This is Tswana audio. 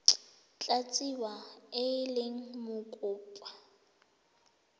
tla tsewa e le mokopa